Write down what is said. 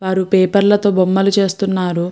వారు పేపర్ లతో బొమ్మలు చేస్తున్నారు.